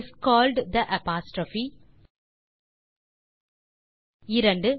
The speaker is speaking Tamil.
is called the apostrophe 2